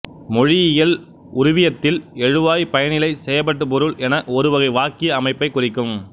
மொழியியல் உருவியத்தில் எழுவாய்பயனிலைசெயப்படுபொருள் என்பது ஒரு வகை வாக்கிய அமைப்பைக் குறிக்கும்